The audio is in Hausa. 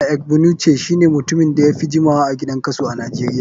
Pa egbunuce shine mutumin da yafi jimawa a gidan kaso a nijeria.